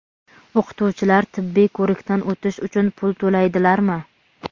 O‘qituvchilar tibbiy ko‘rikdan o‘tish uchun pul to‘laydilarmi?.